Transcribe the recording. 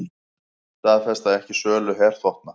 Staðfesta ekki sölu herþotna